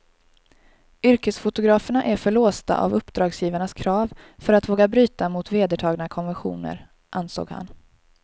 Yrkesfotograferna är för låsta av uppdragsgivarnas krav för att våga bryta mot vedertagna konventioner, ansåg han.